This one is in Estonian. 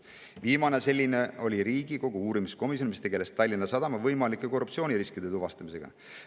Viimane selline oli Riigikogu uurimiskomisjon, mis tegeles Tallinna Sadama võimalike korruptsiooniriskide tuvastamisega.